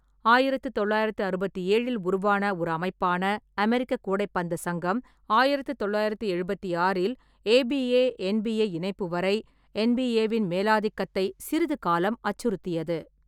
ஆயிரத்து தொள்ளாயிரத்து அறுபத்தி ஏழில் உருவான ஒரு அமைப்பான அமெரிக்க கூடைப்பந்து சங்கம், ஆயிரத்து தொள்ளாயிரத்து எழுபத்தி ஆறில் ஏ.பி.ஏ - என்.பி.ஏ இணைப்பு வரை என்.பி.ஏ-வின் மேலாதிக்கத்தை சிறிது காலம் அச்சுறுத்தியது.